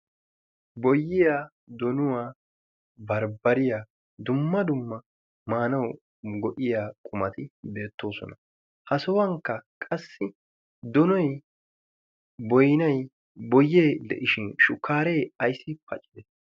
boyiya donuwaa barbbariyaa dumma dumma maanau go'iya qumati deettoosona ha sohuwankka qassi donoy boynay boyee de'ishin shukkaaree ayssi paccide